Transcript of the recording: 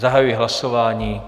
Zahajuji hlasování.